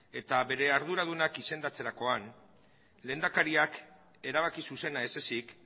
eta bere arduradunak izendatzerakoan lehendakariak erabaki zuzena ez ezik